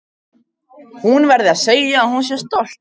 Hún verði að segja að hún sé stolt af mér.